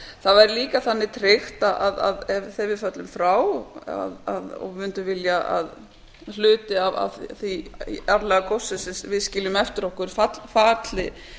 það væri líka þannig tryttað þegar við föllum frá og mundum vilja að hluti af því aflagóssi sem við skiljum eftir okkur falli